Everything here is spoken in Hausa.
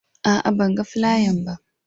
A'a, ban gan flayan ba.